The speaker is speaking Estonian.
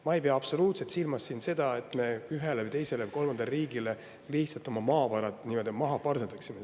Ma ei pea absoluutselt silmas siin seda, et me ühele või teisele või kolmandale riigile lihtsalt oma maavarad nii-öelda maha parseldaksime.